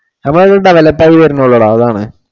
നമ്മടെ അവിടെ develop ആയി വരുന്നേ ഉള്ളു ഡാ അതാണ്.